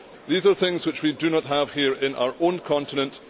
These are things which we do not have here in our own continent